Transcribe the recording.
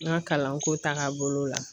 N ka kalanko taaga bolo la.